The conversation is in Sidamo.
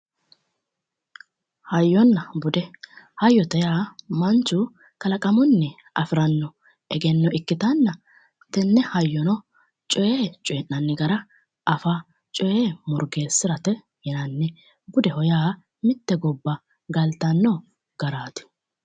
Hayyonna bude hayyote yaa manchu kalaqamunni afiranno egenno ikkitanna tenne hayyono coye coyee'nanni gara afa coyee murgeessate yinaanni budeho yaa mitte gobba galtanno garaati